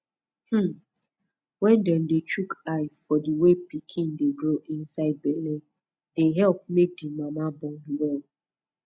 hmm wen dem dey chook eye for the way pikin dey grow inside belle dey epp make di mama born well